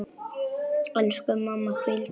Elsku mamma, hvíldu í friði.